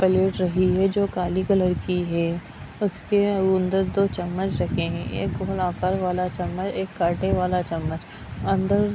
plate रही है जो काली कलर की है उसके अंदर दो चम्मच रखे है एक गोल आकार वाला चम्मच एक काटे वाला चम्मच अंदर --